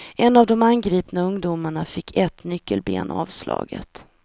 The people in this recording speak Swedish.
En av de angripna ungdomarna fick ett nyckelben avslaget.